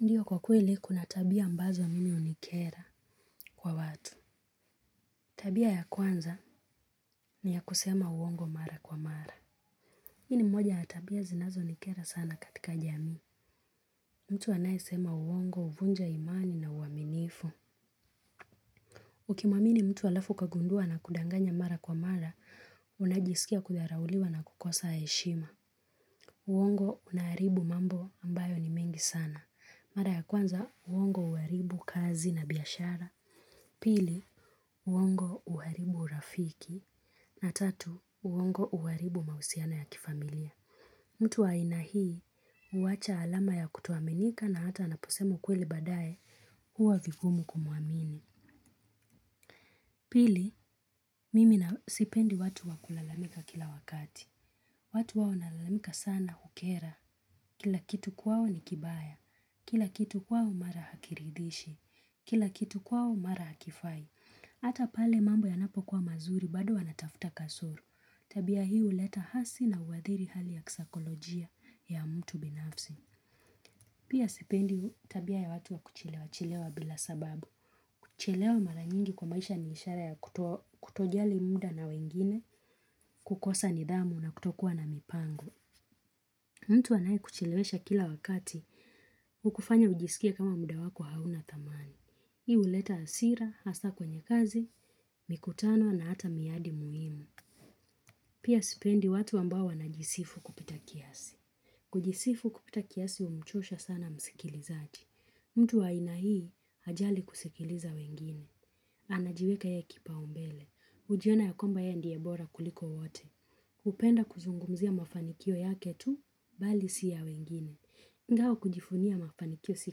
Ndiyo, kwa kweli kuna tabia ambazo mimi hunikera kwa watu. Tabia ya kwanza ni ya kusema uongo mara kwa mara. Hii ni moja ya tabia zinazonikera sana katika jamii. Mtu anayesema uongo huvunja imani na uaminifu. Ukimwamini mtu halafu ukagundua anakudanganya mara kwa mara, unajisikia kudharauliwa na kukosa heshima. Uongo unaharibu mambo ambayo ni mengi sana. Mara ya kwanza, uongo huharibu kazi na biashara. Pili, uongo huharibu urafiki. Na tatu, uongo uwaribu mausiana ya kifamilia. Mtu wa aina hii huacha alama ya kutoaminika, na hata anaposema kweli baadaye huwa vigumu kumwamini. Pili, mimi sipendi watu wakulalamika kila wakati. Watu huwa wanalalamika sana hukera. Kila kitu kwao ni kibaya. Kila kitu kwao mara hakiridhishi. Kila kitu kwao mara hakifai. Hata pale mambo yanapokuwa mazuri bado wanatafuta kasoro. Tabia hii huleta hasi na huathiri hali ya kisaikolojia ya mtu binafsi. Pia sipendi tabia ya watu ya kuchelewa chelewa bila sababu. Kuchelewa mara nyingi kwa maisha ni ishara ya kutojali muda na wengine, kukosa nidhamu na kutokuwa na mipango. Mtu anayekuchelewesha kila wakati, hukufanya ujisikie kama muda wako hauna thamani. Hii huleta hasira, hasa kwenye kazi, mikutano na hata miadi muhimu. Pia sipendi watu ambao wanajisifu kupita kiasi. Kujisifu kupita kiasi umchosha sana msikilizaji. Mtu wa aina hii hajali kusikiliza wengine. Anajiweka yeye kipaumbele. Hujiona ya kwamba yeye ndiye bora kuliko wote. Hupenda kuzungumzia mafanikio yake tu, bali si ya wengine. Ingawa kujivunia mafanikio si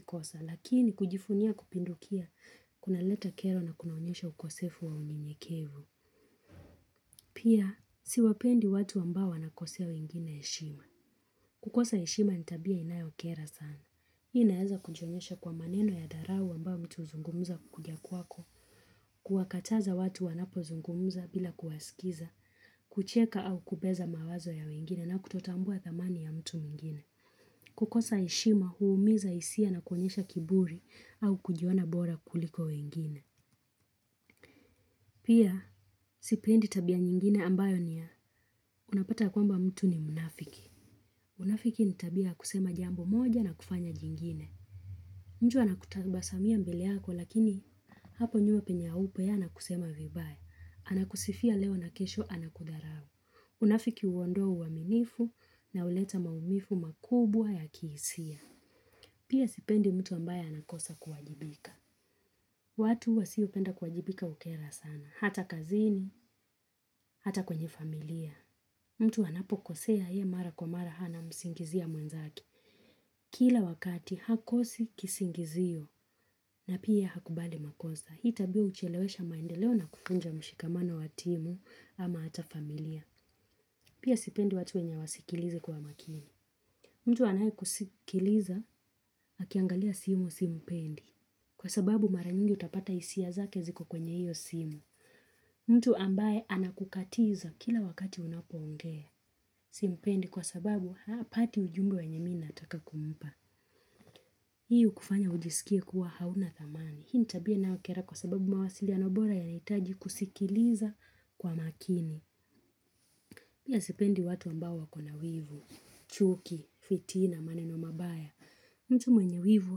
kosa, lakini kujivunia kupindukia kunaleta kero na kunaonyesha ukosefu wa unyenyekevu. Pia, siwapendi watu ambao wanakosea wengine heshima. Kukosa heshima ni tabia inayokera sana. Hiyo inaweza kujionyesha kwa maneno ya dharau ambayo mtu huzungumza kukuja kwako. Kuwakataza watu wanapozungumza bila kuwasikiliza, kucheka au kubeza mawazo ya wengine na kutotambua thamani ya mtu mwingine. Kukosa heshima huumiza hisia na kuonyesha kiburi au kujiona bora kuliko wengine. Pia sipendi tabia nyingine ambayo ni ya, unapata kwamba mtu ni mnafiki. Unafiki ni tabia kusema jambo moja na kufanya jingine. Mtu anakutabasamia mbele yako lakini hapo nyuma penye haupo yeye anakusema vibaya. Anakusifia leo na kesho anakudharau. Unafiki huondoa uaminifu na huleta maumivu makubwa ya kihisia. Pia sipendi mtu ambaye anakosa kuwajibika. Watu wasiopenda kuwajibika hukera sana. Hata kazini, hata kwenye familia. Mtu anapokosea yeye mara kwa mara, anamsingizia mwenzake. Kila wakati hakosi kisingizio na pia hakubali makosa. Hii tabia huchelewesha maendeleo na kuvunja mshikamano wa timu ama hata familia. Pia sipendi watu wasiosikiliza kwa makini. Mtu anayekusikiliza akiangalia simu simpendi. Kwa sababu mara nyingi utapata hisia zake ziko kwenye hiyo simu. Mtu ambaye anakukatiza kila wakati unapoongea. Simpendi kwa sababu hapati ujumbe wenye mimi ninataka kumpa. Hii hukufanya ujisikie kuwa huna thamani. Hii ni tabia inayokera kwa sababu mawasiliano bora yanahitaji kusikiliza kwa makini. Pia sipendi watu ambao wakona wivu, chuki, fitina, maneno mabaya. Mtu mwenye wivu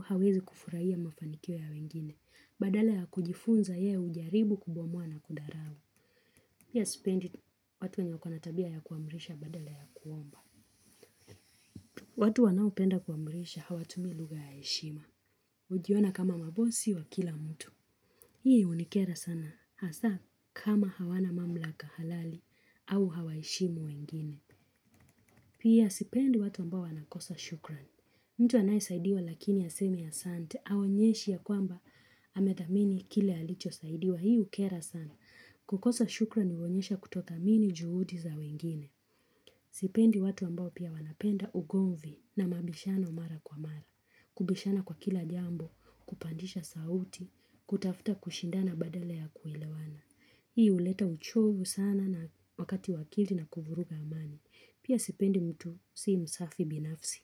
hawezi kufurahia mafanikio ya wengine. Badala ya kujifunza yeye hujaribu kubomoa na kudharau. Pia sipendi watu wenye tabia ya kuamrisha badala ya kuomba. Watu wanaopenda kuamrisha hawatumii lugha ya heshima. Hujiona kama mabosi wa kila mtu. Hii hunikera sana. Hasa kama hawana mamlaka halali au hawaheshimu wengine. Pia sipendi watu ambao wanakosa shukrani. Mtu anayesaidiwa lakini hasemi asante. Haonyeshi ya kwamba amethamini kile alichosaidiwa, hii hukera sana. Kukosa shukrani huonyesha kutodhamini juhudi za wengine. Sipendi watu ambao pia wanapenda ugomvi na mabishano mara kwa mara. Kubishana kwa kila jambo, kupandisha sauti, kutafuta kushindana badala ya kuelewana. Hii uleta uchovu sana na wakati wa akili na kuvuruga amani. Pia sipendi mtu si msafi binafsi.